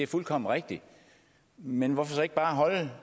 fuldkommen rigtigt men hvorfor så ikke bare holde